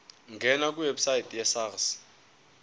ngena kwiwebsite yesars